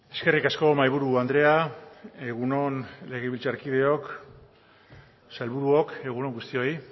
eskerrik asko mahaiburu andrea egun on legebiltzarkideok eta sailburuok egun on guztioi